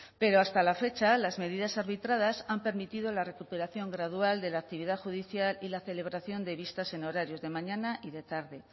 pero hasta la fecha las medidas arbitradas han permitido la recuperación gradual de la actividad judicial y la celebración de vistas en horarios de mañana y de tarde